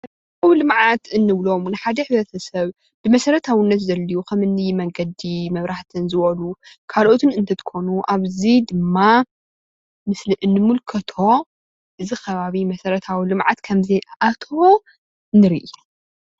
መሰረተ ልምዓት እንብሎም ንሓደ ሕብረተሰብ ንመሰረታዊነት ዘድልዩ ከም እኒ መንገዲ መንገዲ መብራህትን ዝበሉ ካልኦትን እትትኮኑ ኣብዚ ድማ ምስሊ እንምልከቶ እዚ ከባቢ መሰረታዊ ልምዓት ከምዘይ ኣተዎ ንርኢ፡፡